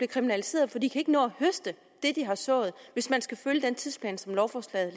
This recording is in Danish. kriminaliseret for de kan ikke nå at høste det de har sået hvis man skal følge den tidsplan som lovforslaget